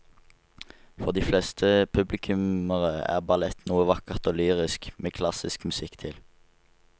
For de fleste publikummere er ballett noe vakkert og lyrisk med klassisk musikk til.